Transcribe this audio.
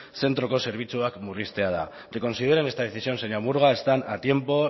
zentroko zerbitzuak murriztea da reconsideren esta decisión señora murga están a tiempo